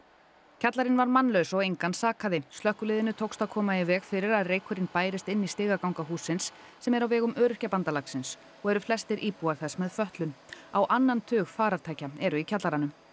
kjallarinn var mannlaus og engan sakaði slökkviliðinu tóks að koma í veg fyrir að reykurinn bærist inn í stigaganga hússins sem er á vegum Öryrkjabandalagsins og eru flestir íbúar þess með fötlun á annan tug farartækja eru í kjallaranum